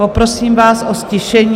Poprosím vás o ztišení.